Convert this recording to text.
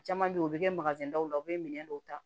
Caman bɛ yen u bɛ kɛ dɔw la u bɛ minɛn dɔw ta